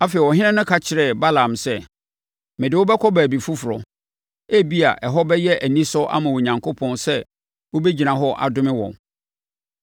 Afei, ɔhene no ka kyerɛɛ Balaam sɛ, “Mede wo bɛkɔ baabi foforɔ. Ebia, ɛhɔ bɛyɛ anisɔ ama Onyankopɔn sɛ wobɛgyina hɔ adome wɔn.”